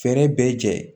Fɛɛrɛ bɛɛ jɛ